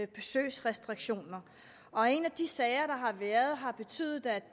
besøgsrestriktioner og en af de sager der har været har betydet at